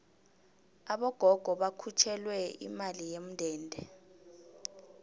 abogogo bakhutjhulelwe imali yomndende